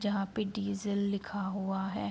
जहाँ पे डीजल लिखा हुआ है।